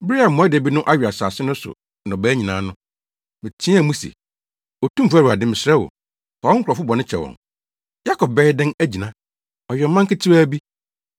Bere a mmoadabi no awe asase no so nnɔbae nyinaa no, meteɛɛ mu se “Otumfo Awurade, mesrɛ wo, fa wo nkurɔfo bɔne kyɛ wɔn! Yakob bɛyɛ dɛn agyina? Ɔyɛ ɔman ketewa bi.”